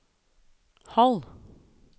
halv